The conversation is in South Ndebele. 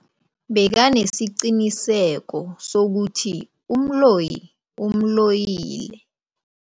Bekanesiqiniseko sokuthi umloyi umloyile.